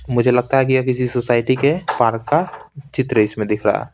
मुझे लगता है कि यह किसी सोसाइटी के पार्क का चित्र इसमें दिख रहा है।